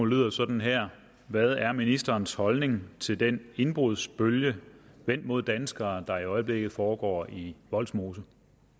lyder sådan her hvad er ministerens holdning til den indbrudsbølge vendt mod danskere der i øjeblikket foregår i vollsmose